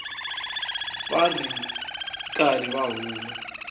va ri karhi va huma